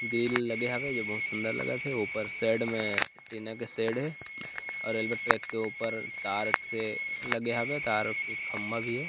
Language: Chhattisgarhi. ग्रिल लगे हवे जे बहुत सुंदर लगत हे ऊपर साइड में टीना के शेड ए और रेलवे ट्रैक के ऊपर तार हे लगे हावे तार खंबा भी हे।